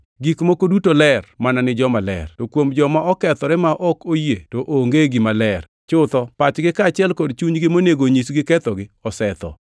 Gik moko duto ler mana ni jomaler, to kuom joma okethore ma ok oyie to onge gima ler. Chutho, pachgi kaachiel gi chunygi monego onyisgi kethogi osetho.